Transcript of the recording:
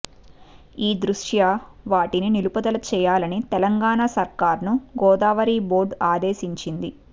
ఈ దృష్ట్యా వాటిని నిలుపుదల చేయాలని తెలంగాణ సర్కార్ను గోదావరి బోర్డు ఆదేశించింది